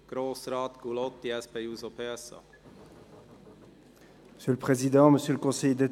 Als Erstes spricht Grossrat Gullotti.